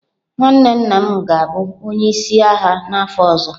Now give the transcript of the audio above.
Nwanne nna m ga-abụ onye isi ndị agha n'afọ ọzọ.